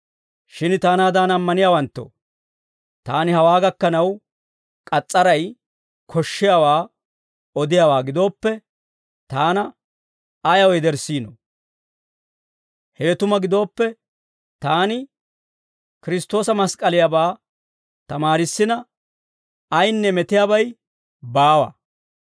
Shin taanaadan ammaniyaawanttoo, taani hawaa gakkanaw k'as's'aray koshshiyaawaa odiyaawaa gidooppe, taana ayaw yederssiinoo? Hewe tuma gidooppe, taani Kiristtoosa mask'k'aliyaabaa tamaarissina ayinne metiyaabay baawa.